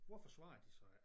Hvorfor svarer de så ikke